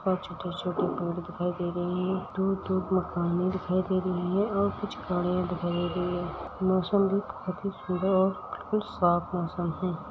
और छोटा छोटा पेड़ दिखाई दे रहे हैं। दूर-दूर मकाने दिखाई दे रही है और कुछ गाड़ियाँ दिखाई दे रही है। मौसम भी बहुत ही सुन्दर और काफी साफ मौसम है।